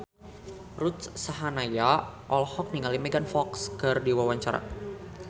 Ruth Sahanaya olohok ningali Megan Fox keur diwawancara